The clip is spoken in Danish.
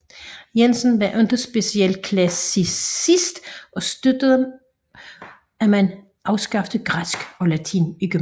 Jensen var ikke speciel klassicistisk og støttede at man afskaffede græsk og latin i gymnasiet